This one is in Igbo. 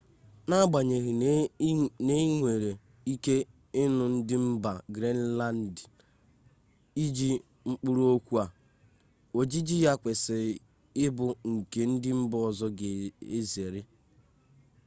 n'agbanyeghị na ị nwere ike ịnụ ndị mba griinlandị iji mkpụrụokwu a ojiji ya kwesịrị ịbụ nke ndị mba ọzọ ga-ezere